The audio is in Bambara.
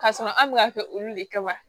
K'a sɔrɔ an bɛ ka kɛ olu le kama